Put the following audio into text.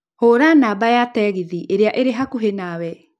Hũra namba ya tegithĨ ĩrĩa ĩrĩ hakuhĩ nawe